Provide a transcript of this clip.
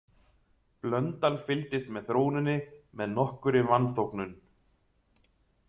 Blöndal fylgdist með þróuninni með nokkurri vanþóknun.